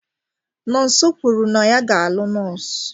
Nonso kwuru na ya ga-alụ nọọsụ.